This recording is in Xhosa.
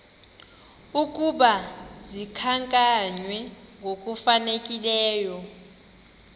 ukuba zikhankanywe ngokufanelekileyo